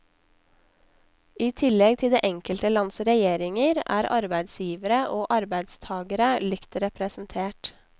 I tillegg til det enkelte lands regjeringer, er arbeidsgivere og arbeidstagere likt representert.